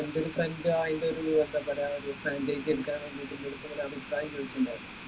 എന്റെ ഒരു friend ആയിലൊരു ഏർ എന്തപ്പറയ ഒരു franchise എടുക്കാൻ വേണ്ടീട് എന്റെടുത്തു ഒരു അഭിപ്രായം ചോയിച്ചിട്ടുണ്ടായിരുന്നു